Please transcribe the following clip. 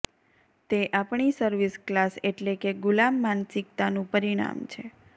તે આપણી service class એટલે કે ગુલામ માનસિકતાનું પરિણામ છે